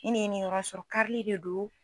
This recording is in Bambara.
Ni ni ye nin yɔrɔ sɔrɔ karili de don